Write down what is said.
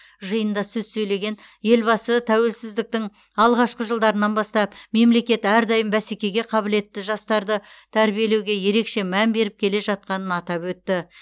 жиында сөз сөйлеген елбасы тәуелсіздіктің алғашқы жылдарынан бастап мемлекет әрдайым бәсекеге қабілетті жастарды тәрбиелеуге ерекше мән беріп келе жатқанын атап өтті